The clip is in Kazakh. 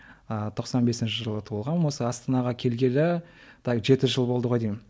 ыыы тоқсан бесінші жылы туылғанмын осы астанаға келгелі так жеті жыл болды ғой деймін